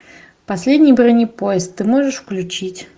последний бронепоезд ты можешь включить